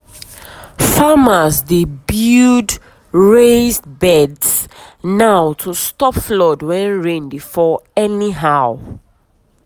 farmers dey build raised beds now to stop flood when rain dey fall anyhow.